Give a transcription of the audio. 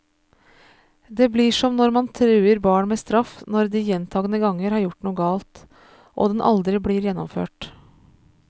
Det blir som når man truer barn med straff når de gjentagende ganger har gjort noe galt, og den aldri blir gjennomført.